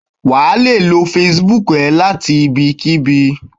wa le lo Facebook e lati ibikibi